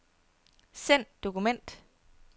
Send dokument.